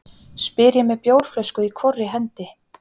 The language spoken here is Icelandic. spyr ég með bjórflösku í hvorri hendi.